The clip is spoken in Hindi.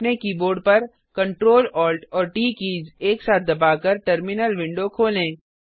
अपने कीबोर्ड पर Ctrl Alt और ट कीज एक साथ दबाकर टर्मिनल विंडो खोलें